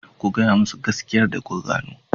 Ku gaya musu gaskiyarsa da kuka gano.